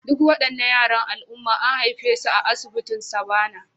Duk waɗannan yaran al'umma an haife su a asibitin Savannah